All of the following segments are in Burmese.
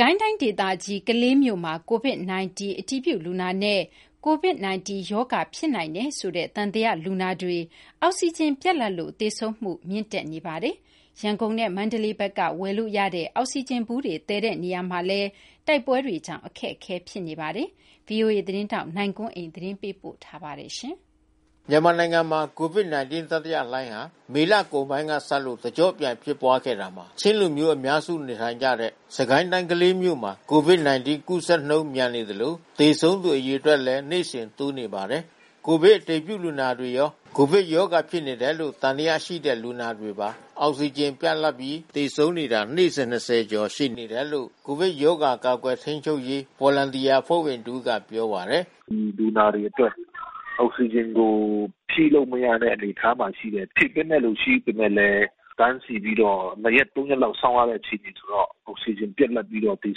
ကိုင်းတိုင်းဒေသကြီး ကလေးမြို့မှာ ကိုဗစ်- ၁၉ အတည်ပြုလူနာနဲ့၊ ကိုဗစ်ရောဂါဖြစ်နိုင်တယ်ဆိုတဲ့ သံသယလူနာတွေ အောက်စီဂျင်ပြတ်လပ်လို့ သေဆုံးမှု မြင့်တက်နေပါတယ်။ ရန်ကုန်နဲ့ မန္တလေးဘက်က ဝယ်ယူရတဲ့ အောက်စီဂျင်ဗူးတွေ သယ်ယူတဲ့နေရာမှာလည်း တိုက်ပွဲတွေကြောင့် အခက်အခဲဖြစ်နေပါတယ်။ ဒီအခြေအနေတွေကိုတော့ဗီအိုအေသတင်းထောက် နိုင်ကွန်းအိန်က သတင်းပေးပို့ ထားပါတယ်။ မြန်မာနိုင်ငံမှာ ကိုဗစ်-၁၉ တတိယလှိုင်းဟာ မေလကုန်ပိုင်းကစလို့ တကျော့ပြန်ဖြစ်ပွားခဲ့တာမှာ ချင်းလူမျိူး အများ စုနေထိုင်ကြတဲ့ စစ်ကိုင်းတိုင်းကလေးမြို့မှာ ကိုဗစ်-၁၉ ကူးစက်မှုနှုန်း မြန်နေသလို သေဆုံးသူအရေအတွက်လည်း နေ့စဉ်လို တိုးနေပါတယ်။ ကိုဗစ်အတည်ပြုလူနာတွေရော ကိုဗစ်ရောဂါဖြစ်နေတယ်လို့ သံသယရှိတဲ့ လူနာတွေပါ အောက်စီဂျင်ပြတ်လတ်မပြီး သေဆုံးနေတာ နေ့စဉ် ၂၀ ကျော်တယ်လို့ ကိုဗစ်ကပ်ရောဂါ ကာကွယ်ထိန်းချုပ်ရေး Volunteer အဖွဲ့ဝင်တဦးကပြောပါတယ်။ "လူနာတွေအတွက်အောက်စီဂျင်ကို ဖြည့်လို့မရတဲ့အနေအထားမှာရှိတယ်။ ဖြည့်တင်းတဲ့သူတွေရှိပေမဲ့လဲ တန်းစီပြီး တော့ နှစ်ရက် သုံးရက်လောက်စောင့်ရတဲ့အခြေအနေဆိုတော့ အောက်စီဂျင်ပြတ်လတ်ပြီးသေ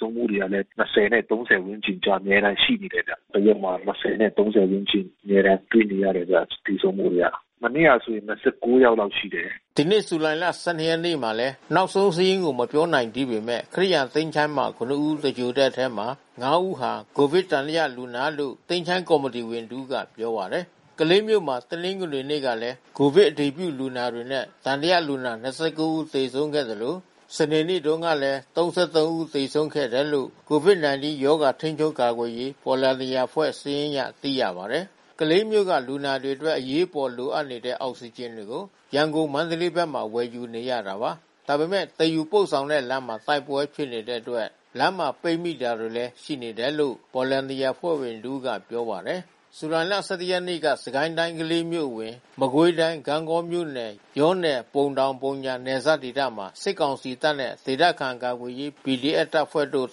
ဆုံးမှုတွေကလဲ (၂၀) နဲ့(၃၀)ဝန်းကျင်အကြားအမြဲတမ်းရှိနေတယ်ဗျ။ တရက်မှာ(၂၀)နဲ့(၃၀)ဝန်းကျင် အမြဲတမ်းတွေ့နေရတယ်ဗျ သေ ဆုံးမှုတွေက။ မနေ့ကဆို(၂၉)ယောက်လာက်ရှိတယ်။" ဒီနေ့ ဇူလိုင် ၁၂ ရက်နေ့မှာလည်း နောက်ဆုံးစာရင်းကို မပြောနိုင်သေးပေမဲ့ ခရစ်ယာန်သချိုင်းမှာ (၇) ဦးသဂြိုလ်တဲ့အထဲမှာ (၅) ဦးဟာ ကိုဗစ်သံသယလူနာလို့ သချိုင်းကော်မီတီဝင်တဦးကပြောပါတယ်။ ကလေးမြို့မှာ တနင်္ဂနွေနေ့ကလည်း ကိုဗစ်အတည်ပြုလူနာတွေနဲ့ သံသယလူနာ (၂၉) ဦးသေဆုံးခဲ့သလို စနေနေ့တုန်းက (၃၃) ဦးသေဆုံးခဲ့တယ်လို့ ကိုဗစ် ၁၉ ရောဂါကာကွယ်ထိန်းချုပ်ရေး Volunteerအဖွဲ့စာရင်းအရ သိရပါတယ်။ ကလေးမြို့က လူနာတွေအတွက် အရေးပေါ်လိုအပ်နေတဲ့ အောက်စီဂျင်တွေကို မန္တလေး ရန်ကုန်ဘက်မှာ ဝယ်ယူနေရတာပါ။ ဒါပေမဲ့ သယ်ယူပို့ဆောင်တဲ့လမ်းမှာ တိုက်ပွဲတွေဖြစ်နေတဲ့အတွက် လမ်းမှာ ပိတ်မိနေတာတွေလည်းရှိတယ်လို့ Volunteer အဖွဲ့ဝင်တဦးကပြောပါတယ်။ ဇူလိုင်(၁၁) ရက်နေ့က စစ်ကိုင်းတိုင်းကလေးမြို့နယ်အဝင် မကွေးတိုင်းဂန့်ဂေါမြို့နယ် ယောနယ် ပုံတောင်၊ ပုံညာနယ်စပ်ဒေသမှာ စစ်ကောင်စီတပ်နဲ့ ဒေသခံကာကွယ်ရေး PDF တပ်ဖွဲ့တို့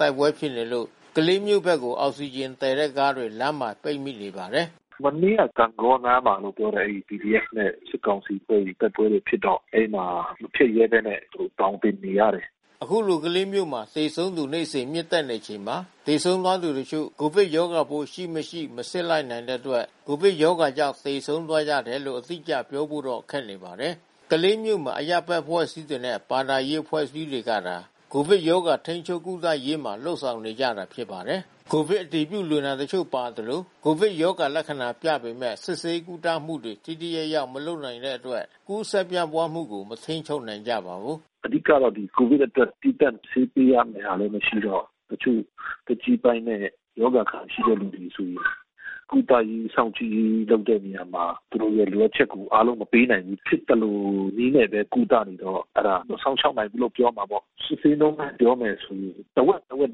တိုက်ပွဲဖြစ်နေလို့ ကလေးမြို့ဘက်ကို အောက်စီ ဂျင် သယ်တဲ့ကားတွေ လမ်းမှာပိတ်မိနေပါတယ်။ "မနေ့က ဂန့်ဂေါနားမှာလို့ပြောတယ်။ အဲဒီPDFနဲ့ စစ်ကောင်စီတို့တိုက်ပွဲတွေဖြစ်တော့ အဲဒီမှာမဖြတ်ရဲဘဲနဲ့ သောင် တင် နေရတယ်။" ခုလို ကလေးမြို့မှာ သေဆုံးသူ နေ့စဉ် မြင့်တက်နေချိန်မှာ သေဆုံးသွားသူတချို့ ကိုဗစ်ရောဂါပိုး ရှိ မရှိ မစစ်လိုက်နိုင်တဲ့အတွက် ကိုဗစ်ရောဂါကြောင့်သေဆုံးသွားကြတယ်လို့ အတိအကျပြောဖို့ခက်ပါတယ်။ ကလေးမြို့မှာ အရပ်ဘက်အဖွဲ့အစည်းတွေနဲ့ ဘာသာရေးအဖွဲ့အစည်းတွေကသာ ကိုဗစ်ရောဂါထိန်းချုပ် ကုသ ရေးမှာလုပ်ဆောင်နေကြတာဖြစ်ပါတယ်။ ကိုဗစ်အတည်ပြုလူနာတချို့ပါသလို ကိုဗစ်ရောဂါလက္ခဏာပြပေမဲ့ စစ်ဆေးကုသမှုတွေ ထိထိရောက် မလုပ်ရနိုင်တဲ့ အတွက် ကူးစက်ပြန့်ပွါးမှုကို မထိန်းချုပ်နိုင်ကြပါဘူး။ "အဓိကတော့ ကိုဗစ်အတွက် သီးသန့်ဆေးပေးရမဲ့ဟာလဲမရှိတော့ တချို့သက်ကြီးပိုင်းနဲ့ ရောဂါအခံရှိတဲ့သူတွေဆိုရင် ကုသရေး စောင့်ကြည့်ရေးလုပ်တဲ့နေရာမှာ သူတို့ရဲ့လိုအပ်ချက်တွေအားလုံးမပေးနိုင်ဘူး။ ဖြစ်သလိုနည်းနဲ့ ကုသနေ တော့ အဲတာ မစောင့်ရှောက်နိုင်ဘူးလို့ပြောရမှာပေါ့။ စစ်ဆေးနှုန်းနဲ့ပြောမယ်ဆိုရင် တဝက်တဝက်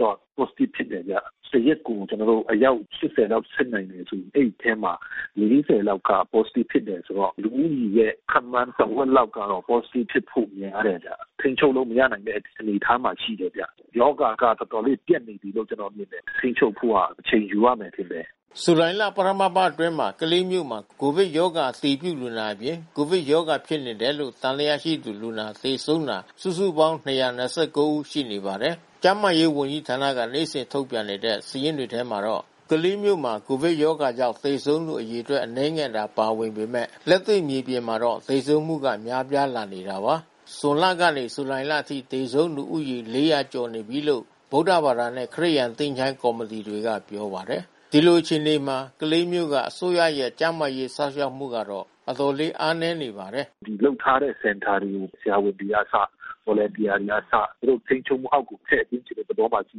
လောက်တော့ Positive ဖြစ်တယ်ဗျ။ တရက်ကိုကျွန်တော်တို့အယောက်(၈၀)လောက်စစ်နိုင်မယ်ဆိုလို့ရှိရင် အဲဒီအထဲမှာ (၄၀) လောက်က Positive ဖြစ်တယ်ဆိုတော့ လူဦးရေရဲ့ခန့်မှန်းတဝက်လောက်ကတော့ Positive ဖြစ်ဖို့များတယ်ဗျ။ ထိမ်း ချုပ်လို့မရနိုင်တဲ့အနေအထားမှာရှိတယ်ဗျ။ ရောဂါကတော်တော်လေးပြန့်နေပြီးလို့ကျွန်တော်မြင်တယ်။ ထိမ်းချုပ်ဖို့ ကအချိန်ယူရမယ်ထင်တယ်။" ဇူလိုင်လပထမအပါတ်အတွင်းမှာ ကလေးမြို့မှာ ကိုဗစ်ရောဂါ အတည်ပြုလူနာအပြင်၊ ကိုဗစ်ရောဂါဖြစ်နေတယ်လို့ သံသယရွိတဲ့လူနာ သေဆုံးတာ စုစုပေါင်း ၂၂၉ ဦးရှိနေပါတယ်။ ကျန်းမာရေးဝန်ကြီးဌာနက နေ့စဉ်ထုတ်ပြန်နေတဲ့ စာရင်းတွေထဲမှာတော့ ကလေးမြို့မှာ ကိုဗစ်ကြောင့် သေဆုံးသူ အရေအတွက် အနည်းငယ်သာပါ ဝင်ပေမဲ့ လက်တွေ့မြေပြင်မှာတော့ သေဆုံးမှုကများပြားလာနေတာပါ။ ဇွန်လက နေ ဇူလိုင်လအထိ သေဆုံးသူဦးရေ (၄၀၀) ကျော်နေပြီးလို့ ဗုဒ္ဓဘာသာနဲ့ ခရစ်ယာန်သချိုင်းကော်မတီတွေက ပြောပါတယ်။ ဒီလိုအခြေအနေမှာ ကလေးမြို့က အစိုးရရဲ့ ကျန်းမာရေးစောင့် ရှောက်မှုကတော့ အတော်လေး အားနည်းနေပါတယ်။ "လုပ်ထားတဲ့စင်တာတွေ ဆရာဝန်တွေကအစ Volunteerတွေကအစ သူတို့ထိမ်းချုပ်မှုအောက်မှာ ထည့်သွင်းချင်တဲ့ သဘောမှာရှိ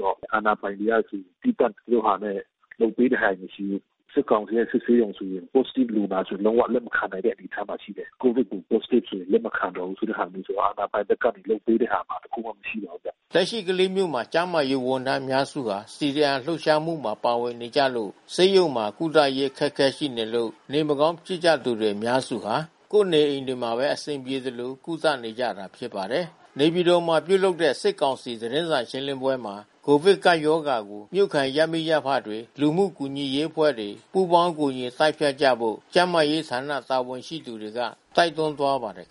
တော့ အာဏာပိုင်တွေက သီးသန့်သူတို့ဟာနဲ့ လုပ်ပေးတဲ့ဟာတွေမရှိဘူး။ စစ်ကောင်စီရဲ့စစ်ဆေးရုံတွေ လက်ရှိလူနာတွေလုံးဝလက်မခံနိုင်တဲ့အနေအထားမှာရှိတယ်။ ကိုဗစ်တွေ Positiveတွေ လက်မခံတော့ဘူးဆိုတဲ့ဟာမျိုး အာဏာပိုင်ဘက်က လုပ်ပေးတဲ့ဟာ ဘာတခုမှမရှိတော့ဘူးဗျ။" လက်ရှိကလေးမြို့မှာ ကျန်းမာရေးဝန်ထမ်းအများစုဟာ CDM လှုပ်ရှားမှုမှာပါဝင်နေကြလို့ ဆေးရုံမှာကုသရေး အခက်ခဲရှိနေလို့ နေမကောင်းဖြစ်နေကြသူ အများစုဟာ ကိုယ့်နေအိမ်တွေမှာပဲ အဆင်ပြေသလို ကုသနေကြရတာဖြစ်ပါတယ်။ နေပြည်တော်မှာ ပြုလုပ်တဲ့ စစ်ကောင်စီသတင်းစာရှင်းပွဲမှာ ကိုဗစ်ကပ်ရောဂါကို မြို့ခံရပ်မိ ရပ်ဖတွေ၊ လူမှုကူညီရေးအဖွဲ့တွေ ပူးပေါင်းကူညီတိုက်ဖျက်ကြဖို့ ကျန်းမာရေးဌာနာ တာဝန်ရှိသူက တိုက်တွန်းသွားပါတယ်